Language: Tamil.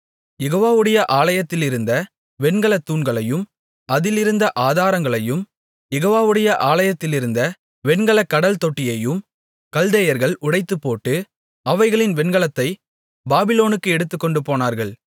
யெகோவாவுடைய ஆலயத்திலிருந்த வெண்கலத் தூண்களையும் அதிலிருந்த ஆதாரங்களையும் யெகோவாவுடைய ஆலயத்திலிருந்த வெண்கலக் கடல்தொட்டியையும் கல்தேயர்கள் உடைத்துப்போட்டு அவைகளின் வெண்கலத்தைப் பாபிலோனுக்கு எடுத்துக்கொண்டுபோனார்கள்